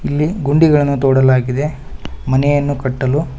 ಇಲ್ಲಿ ಗುಂಡಿಗಳನ್ನು ತೊಡಲಾಗಿದೆ ಮನೆಯನ್ನು ಕಟ್ಟಲು.